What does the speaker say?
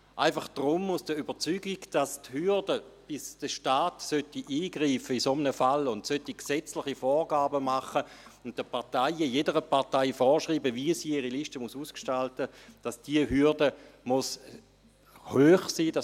– Einfach aus der Überzeugung, dass bis der Staat in einem solchen Fall eingreifen, solche gesetzliche Vorgaben machen und jeder Partei vorschreiben sollte, wie sie ihre Liste ausgestalten soll, die Hürde hoch sein muss.